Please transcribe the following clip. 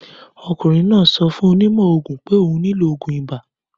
Ọmọkùnrin náà sọ fún onímọ̀ òògùn pé òun nílò òògùn ibà.